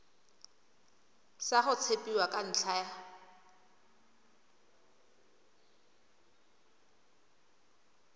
sa go tshepiwa ka ntlha